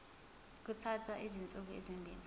kuthatha izinsuku ezimbili